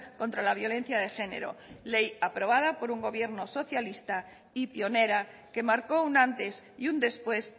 contra la violencia de género ley aprobada por un gobierno socialista y pionera que marcó un antes y un después